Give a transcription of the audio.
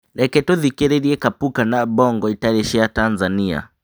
Reke tũthikĩrĩrie kapuka na bongo itarĩ cia Tanzania